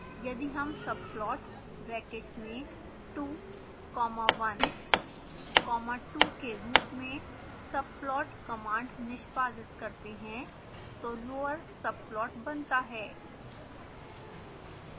यदि हम subplot brackets में 2 comma 1 comma 2 के रूप में subplot कमांड निष्पादित करते हैं तो lower subplot बनता है